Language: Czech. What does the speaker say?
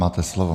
Máte slovo.